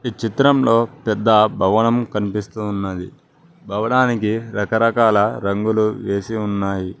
ఈ చిత్రంలో పెద్ద భవనం కనిపిస్తూ ఉన్నది భవనానికి రకరకాల రంగులు వేసి ఉన్నాయి